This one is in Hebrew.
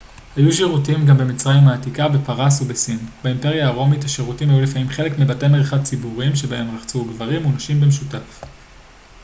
היו שירותים גם במצרים העתיקה בפרס ובסין באימפריה הרומית השירותים היו לפעמים חלק מבתי מרחץ ציבוריים בהם רחצו גברים ונשים במשותף